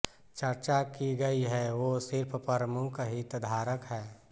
चर्चा की गइ है वो सिर्फ़ प्रमुख हितधारक हैं